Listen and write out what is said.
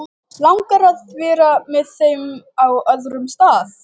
Er ekki allt gott að frétta af konunni og börnunum?